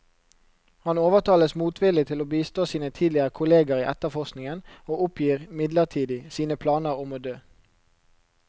Han overtales motvillig til å bistå sine tidligere kolleger i etterforskningen, og oppgir midlertidig sine planer om å dø.